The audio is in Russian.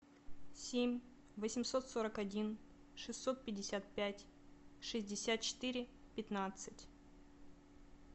семь восемьсот сорок один шестьсот пятьдесят пять шестьдесят четыре пятнадцать